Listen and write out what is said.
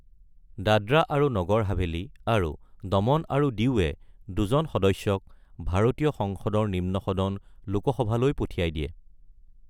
দাদ্ৰা আৰু নগৰ হাভেলী আৰু দমন আৰু দিউৱে দুজন সদস্যক ভাৰতীয় সংসদৰ নিম্ন সদন লোকসভালৈ পঠিয়াই দিয়ে।